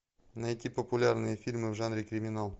найти популярные фильмы в жанре криминал